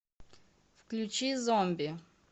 включи зомби